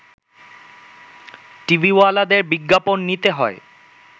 টিভিওয়ালাদের বিজ্ঞাপন নিতে হয়